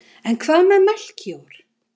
En hvað með Melkíor?